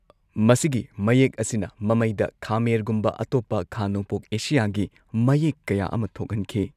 ꯃꯁꯤꯒꯤ ꯃꯌꯦꯛ ꯑꯁꯤꯅ ꯃꯃꯩꯗ ꯈꯃꯦꯔꯒꯨꯝꯕ ꯑꯇꯣꯞꯄ ꯈꯥ ꯅꯣꯡꯄꯣꯛ ꯑꯦꯁꯤꯌꯥꯒꯤ ꯃꯌꯦꯛ ꯀꯌꯥ ꯑꯃꯥ ꯊꯣꯛꯍꯟꯈꯤ꯫